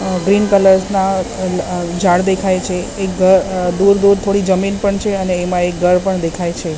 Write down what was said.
અ green colours ના અ આ ઝાડ દેખાય છે એક ઘર દૂર દૂર થોડી જમીન પણ છે અને એમાં એક ઘર પણ દેખાય છે.